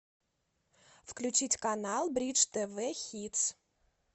включить канал бридж тв хитс